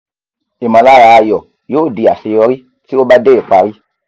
ìmọ̀lára ayọ̀ yóò di àṣeyọrí tí o bá dé ìparí